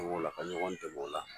An b'o lamɛ ɲɔgɔn dɛmɛ o la